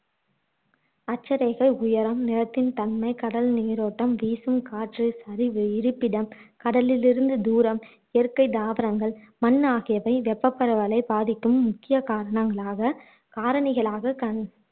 அக்ச்சரேகை உயரம், நிலத்தின் தன்மை, கடல் நீரோட்டம், வீசும் காற்று, சரி இருப்பிடம், கடலிலிருந்து தூரம், இயற்கை தாவரங்கள், மண் ஆகியவை வெப்பப்பரவலை பாதிக்கும் முக்கியக் காரணங்களாக காரணிகளாக கண்